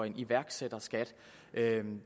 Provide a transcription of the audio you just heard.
en iværksætterskat